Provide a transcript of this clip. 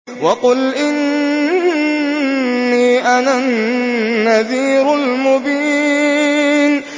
وَقُلْ إِنِّي أَنَا النَّذِيرُ الْمُبِينُ